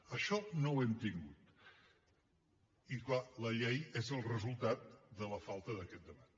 això no ho hem tingut i clar la llei és el resultat de la falta d’aquest debat